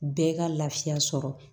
Bɛɛ ka laafiya sɔrɔ